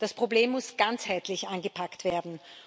Das Problem muss ganzheitlich angepackt werden.